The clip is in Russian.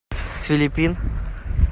филиппин